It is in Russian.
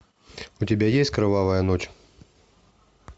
у тебя есть кровавая ночь